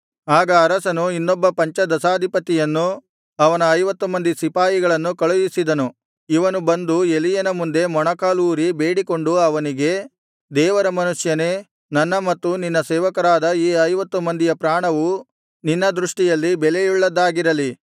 ಆಗ ಅರಸನು ಇನ್ನೊಬ್ಬ ಪಂಚದಶಾಧಿಪತಿಯನ್ನು ಅವನ ಐವತ್ತು ಮಂದಿ ಸಿಪಾಯಿಗಳನ್ನೂ ಕಳುಹಿಸಿದನು ಇವನು ಬಂದು ಎಲೀಯನ ಮುಂದೆ ಮೊಣಕಾಲೂರಿ ಬೇಡಿಕೊಂಡು ಅವನಿಗೆ ದೇವರ ಮನುಷ್ಯನೇ ನನ್ನ ಮತ್ತು ನಿನ್ನ ಸೇವಕರಾದ ಈ ಐವತ್ತು ಮಂದಿಯ ಪ್ರಾಣವು ನಿನ್ನ ದೃಷ್ಟಿಯಲ್ಲಿ ಬೆಲೆಯುಳ್ಳದ್ದಾಗಿರಲಿ